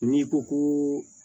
N'i ko ko